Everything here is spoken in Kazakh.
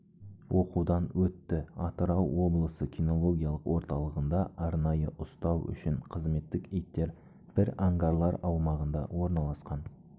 оқудан өтті атырау облысы кинологиялық орталығында арнайы ұстау үшін қызметтік иттер бір ангарлар аумағында орналасқан